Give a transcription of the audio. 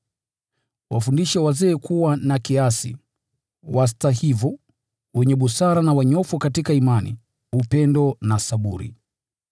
Wafundishe wazee kuwa na kiasi, wastahivu, wenye busara na wanyofu katika imani, upendo na saburi.